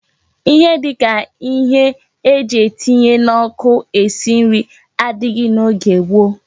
Ihe dika ihe eji etinye na oku esi nri adighi na oge gboo